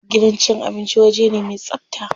Gidan cin abinci waje ne me tsabta.